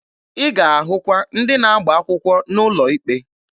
Ị ga-ahụkwa ndị na-agba akwụkwọ n'ụlọ ikpe.